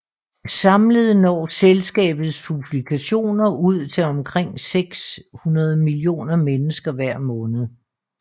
Samlet når selskabets publikationer ud til omkring 600 millioner mennesker hver måned